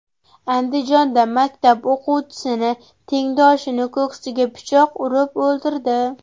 Andijonda maktab o‘quvchisi tengdoshini ko‘ksiga pichoq urib o‘ldirdi.